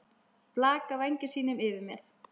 Blakar vængjum sínum yfir mér.